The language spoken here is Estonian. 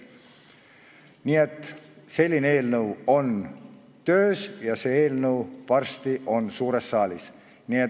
Nii et selline eelnõu on töös ja see on varsti suures saalis.